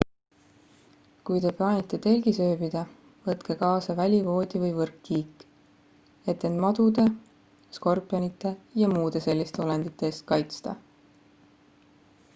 kui te plaanite telgis ööbida võtke kaasa välivoodi või võrkkiik et end madude skorpionite ja muude selliste olendite eest kaitsta